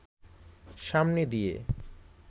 সামনে দিয়ে